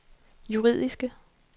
juridiske